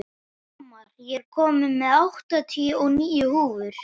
Hamar, ég kom með áttatíu og níu húfur!